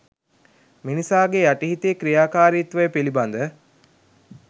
මිනිසාගේ යටි හිතේ ක්‍රියාකාරිත්වය පිළිබඳ